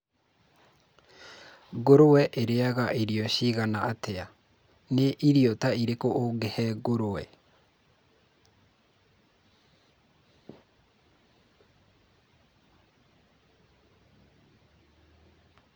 long pauses